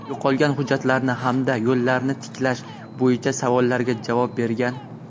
yo‘qolgan hujjatlarni hamda yo‘llarni tiklash bo‘yicha savollarga javob bergan.